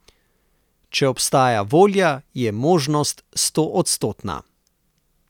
Če obstaja volja, je možnost stoodstotna.